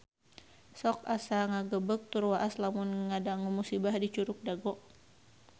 Sok asa ngagebeg tur waas lamun ngadangu musibah di Curug Dago